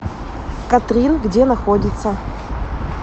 катрин где находится